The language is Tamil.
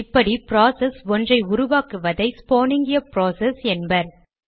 இப்படி ப்ராசஸ் ஒன்றை உருவாக்குவதை ஸ்பானிங் எ ப்ராசஸ் என்பர்